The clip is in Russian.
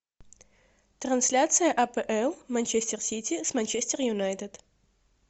трансляция апл манчестер сити с манчестер юнайтед